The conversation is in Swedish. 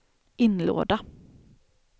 inlåda